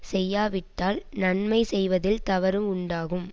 செய்யாவிட்டால் நன்மை செய்வதில் தவறு உண்டாகும்